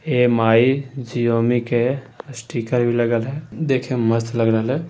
ये माय के स्टीकर भी लागल है देखे में मस्त लग रहल है।